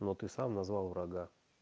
но ты сам назвал врага